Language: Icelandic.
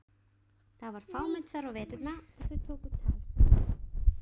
Það var fámennt þar á veturna og þau tóku tal saman.